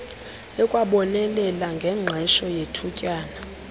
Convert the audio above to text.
ikwabonelela ngengqesho yethutyana